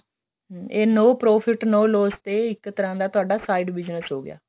ਹਮ ਇਹ no profit no loss ਤੇ ਇੱਕ ਤਰ੍ਹਾਂ ਦਾ ਤੁਹਾਡਾ side business ਹੋ ਗਿਆ